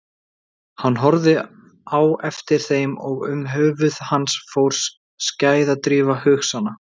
Hann horfði á eftir þeim og um höfuð hans fór skæðadrífa hugsana.